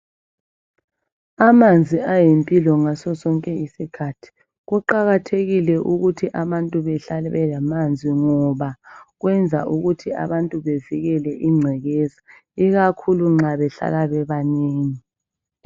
Amanzi ayimpilo ngaso sonke isikhathi kuqakathekile ukuthi abantu behlale belamanzi ngoba kwenza ukuthi abantu bevikele ingcekeza ikakhulu nxa behlala bebanengi